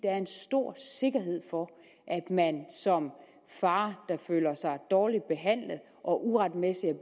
er en stor sikkerhed for at man som far der føler sig dårligt behandlet og uretmæssigt